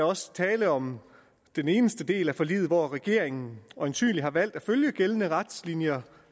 også tale om den eneste del af forliget hvor regeringen øjensynlig har valgt at følge gældende retningslinjer